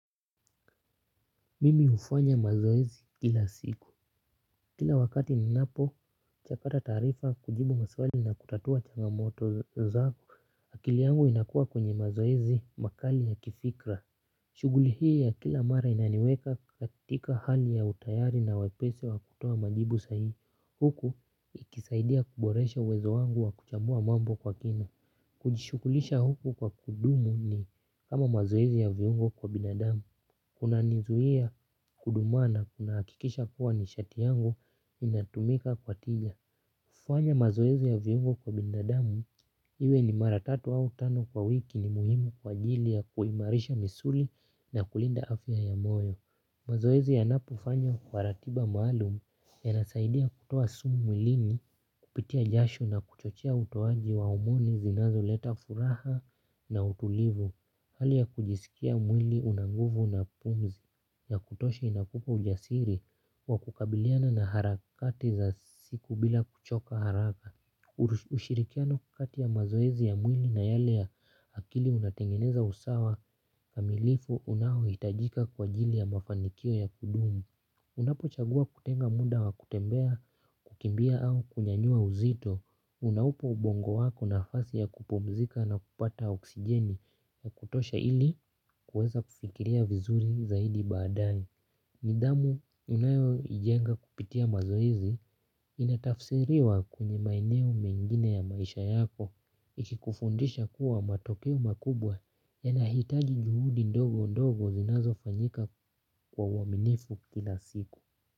Mimi ufanya mazoezi kila siku. Kila wakati ninapo, chakata taarifa kujibu maswali na kutatua changamoto zang, akili yangu inakuwa kwenye mazoezi makali ya kifikra. Shughuli hii ya kila mara inaniweka katika hali ya utayari na wepesi wa kutoa majibu sahihi. Huku ikisaidia kuboresha uwezo wangu wa kuchambua mambo kwa kina. Kujishugulisha huku kwa kudumu ni kama mazoezi ya viungo kwa binadamu. Kuna nizuia kudumaa na kunahakikisha kuwa nishati yangu inatumika kwa tija. Kufanya mazoezi ya viungo kwa binadamu iwe ni maratatu au tano kwa wiki ni muhimu kwa ajilia kuimarisha misuli na kulinda afya ya moyo. Mazoezi ya napofanywa kwa ratiba maalum ya nasaidia kutoa sumu mwilini kupitia jasho na kuchochea utowaji wa homoni zinazo leta furaha na utulivu. Hali ya kujiskia mwili unanguvu na pumzi ya kutosha inakupa ujasiri wa kukabiliana na harakati za siku bila kuchoka haraka. Ushirikiano kati ya mazoezi ya mwili na yale ya akili unatengeneza usawa kamilifu unaohitajika kwa ajili ya mafanikio ya kudumu. Unapo chagua kutenga muda wa kutembea kukimbia au kunyanyua uzito unaupa ubongo wako nafasi ya kupumzika na kupata oksijeni ya kutosha ili kuweza kufikiria vizuri zaidi baadani. Nidhamu ninayo ijenga kupitia mazoezi inatafsiriwa kwenye maeneo mengine ya maisha yako. Ikikufundisha kuwa matokeo makubwa ya nahitaji juhudi ndogo ndogo zinazo fanyika kwa uaminifu kila siku.